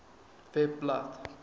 webblad